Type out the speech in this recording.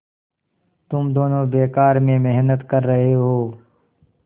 तुम दोनों बेकार में मेहनत कर रहे हो